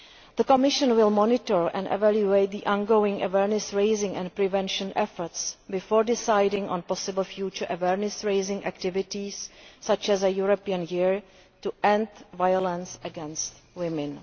The Commission will monitor and evaluate the ongoing awareness raising and prevention efforts before deciding on possible future awareness raising activities such as a European Year to End Violence against Women.